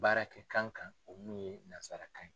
Baarakɛkan kanu o min ye nansarakan ye.